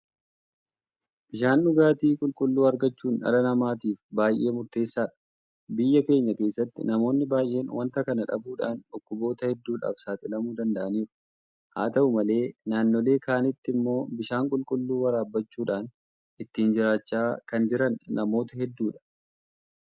Bishaan dhugaatii qulqulluu argachuun dhala namaatiif baay'ee murteessaadha. Biyya keenya keessatti namoonni baay'een waanta kana dhabuudhaan dhukkuboota hedduudhaaf saaxilamuu danda'aniiru. Haa ta'u malee naannoolee kaanitti immoo bishaan qulqulluu waraabbachuudhaan ittiin jiraachaa kan jiran namoota hedduudha.